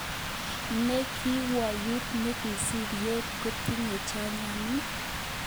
Ne kokwoutyet nekisibi yon kityeme chanjanani?